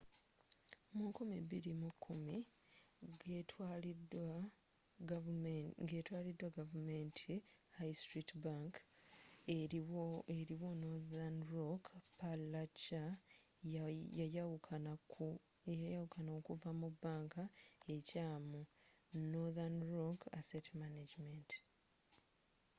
mu 2010 ga etwaliddwa gavumenti high street bank eriwo northern rock plc yayawuka okuva mu' bank ekyamu’ northern rock asset management